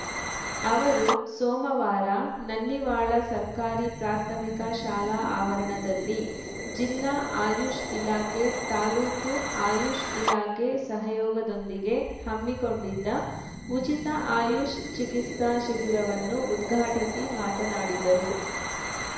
ಅವರು ಸೋಮವಾರ ನನ್ನಿವಾಳ ಸರ್ಕಾರಿ ಪ್ರಾಥಮಿಕ ಶಾಲಾ ಆವರಣದಲ್ಲಿ ಜಿಲ್ಲಾ ಆಯುಷ್‌ ಇಲಾಖೆ ತಾಲ್ಲೂಕು ಆಯುಷ್‌ ಇಲಾಖೆ ಸಹಯೋಗದೊಂದಿಗೆ ಹಮ್ಮಿಕೊಂಡಿದ್ದ ಉಚಿತ ಆಯುಷ್‌ ಚಿಕಿತ್ಸಾ ಶಿಬಿರವನ್ನು ಉದ್ಘಾಟಿಸಿ ಮಾತನಾಡಿದರು